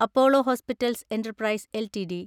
Apollo hospitals enterprise LTD